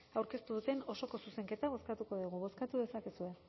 aurkeztu duten osoko zuzenketa bozkatuko dugu bozkatu dezakezue